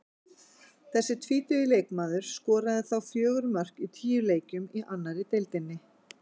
Þessi tvítugi leikmaður skoraði þá fjögur mörk í tíu leikjum í annarri deildinni.